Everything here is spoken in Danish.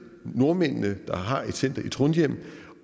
nordmændene der har et center i trondheim